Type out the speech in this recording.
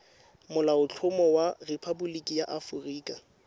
molaotlhomo wa rephaboliki ya aforika